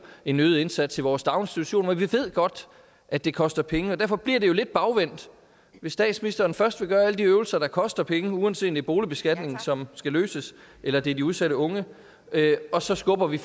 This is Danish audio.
en øget indsats i vores daginstitutioner og vi ved godt at det koster penge derfor bliver det jo lidt bagvendt hvis statsministeren først vil gøre alle de øvelser der koster penge uanset er boligbeskatningen som skal løses eller det er de udsatte unge for så skubber vi